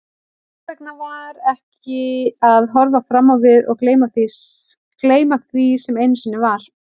Hvers vegna ekki að horfa fram á við og gleyma því sem einu sinni var?